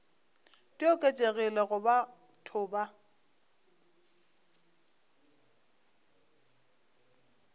di oketšegilego go batho ba